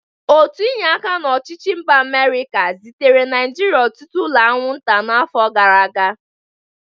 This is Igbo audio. Otu inye aka n'ọchịchị mba Amịrịka zitere Naịjịrịa ọtụtụ ụlọ anwụnta n'afọ gara aga.